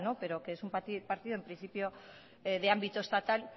pero que es un partido en principio de ámbito estatal